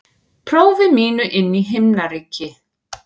prófi mínu inn í himnaríki.